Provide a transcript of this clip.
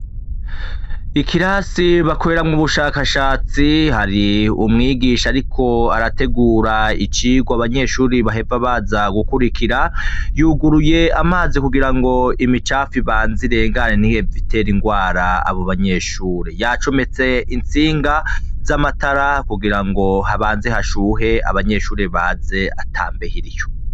Ikirasi bakoreramwo ubushakashatsi hari umwigisha ariko arategura icigwa abanyeshure bahava baza gukurikira yuguriye amazi kugira ngo imicafu ibaze irangane nihave itera irwara abo banyeshure, yacometse itsinga z'amatara kugira ngo habaze hashuhe abanyeshure baze ata mbeho iriyo.